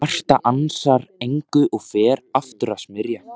Marta ansar engu og fer aftur að smyrja.